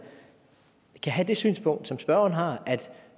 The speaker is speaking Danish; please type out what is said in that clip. kan have det synspunkt som spørgeren har at